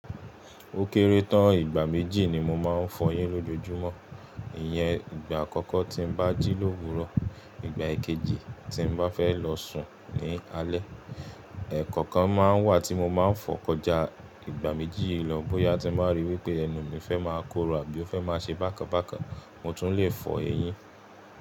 Ó kéré tán, ìgbà méjì ni mo máa ń fọ eyín lójoojúmọ́. Ìyẹn ìgbà àkọ́kọ́ tí mo bá jí lówuro, ìgbà ìkejì tí mo bá fẹ́ lọ sùn ní alẹ́. Ẹ̀kọ̀ọ́ kan máa ń wà tí mo máa ń fọ kọjá ìgbà méjì yìí lọ bóyá tí mo bá ríi wí pé ẹnu mi fẹ́ máa korò àbí ó fẹ́ máa ṣe bákan bákan, mo tún lè fọ eyín.